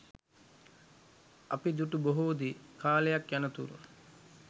අපි දුටු බොහෝ දේ කාලයක් යනතුරු